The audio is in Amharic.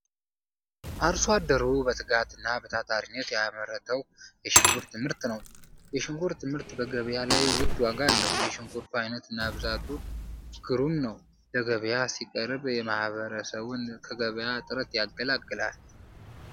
አርሶ አደሩ በትጋት እና በታታሪነት የያመረተዉ የሽንኩርት ምርት ነዉ። የሽንኩርት ምርት በገበያ ላይ ዉድ ዋጋ አለዉ። የሽንኩሩቱ አይነት እና ብዛቱ ግሩም ነዉ። ለገበያ ሲቀርብ ማህበረሰቡን ከገበያ እጥረት ይገላግላል።